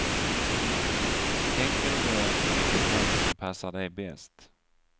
Tänk noga efter vilket lån som passar dig bäst.